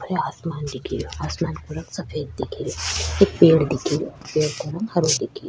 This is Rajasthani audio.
खुलो आसमान दिखेरयो आसमान को रंग सफ़ेद दिखेरयो एक पेड़ दिखेरयो पेड़ का रंग हरो दिखेरयो।